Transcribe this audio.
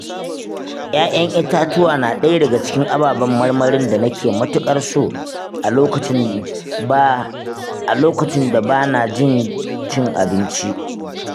Ƴaƴan itatuwa na ɗaya daga cikin ababen marmarin da na ke matuƙar so a lokacin ba bana jin cin abinci.